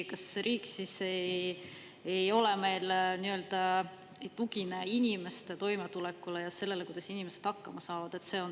Kas riik siis meil ei tugine inimeste toimetulekule ja sellele, kuidas inimesed hakkama saavad?